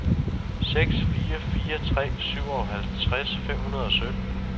seks fire fire tre syvoghalvtreds fem hundrede og sytten